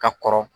Ka kɔrɔ